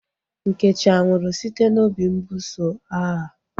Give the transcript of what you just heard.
Nkechi anwụrụ site n'obi mbuso agha?